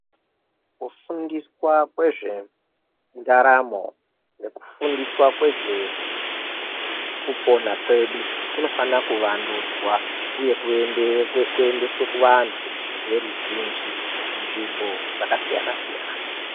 Kufundiswa kwezvendaramo nekufundiswa kwezvekupona kwedu kunofanira kuvandudzwa, uye kuyendiswe kuvantu veruzhinji dzvimbo dzakasiyana siyana.